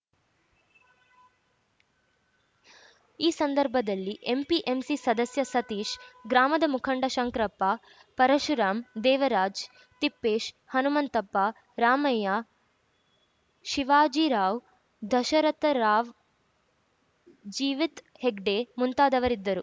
ಈ ಸಂದರ್ಭದಲ್ಲಿ ಎಂಪಿಎಂಸಿ ಸದಸ್ಯ ಸತೀಶ್‌ ಗ್ರಾಮದ ಮುಖಂಡ ಶಂಕ್ರಪ್ಪ ಪರುಶುರಾಮ್‌ ದೇವರಾಜ್‌ ತಿಪ್ಪೇಶ್‌ ಹನುಮಂತಪ್ಪ ರಾಮಯ್ಯ ಶಿವಾಜಿರಾವ್‌ ದಶರಥರಾವ್‌ಜೀವಿತ್‌ ಹೆಗ್ಡೆ ಮುಂತಾದವರಿದ್ದರು